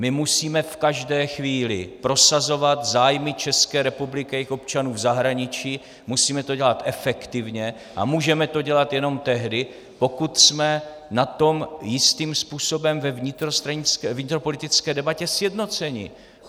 My musíme v každé chvíli prosazovat zájmy České republiky a jejích občanů v zahraničí, musíme to dělat efektivně a můžeme to dělat jenom tehdy, pokud jsme na tom jistým způsobem ve vnitropolitické debatě sjednoceni.